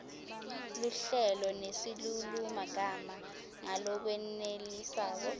luhlelo nesilulumagama ngalokwenelisako